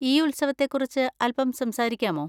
ഈ ഉത്സവത്തെ കുറിച്ച് അൽപ്പം സംസാരിക്കാമോ?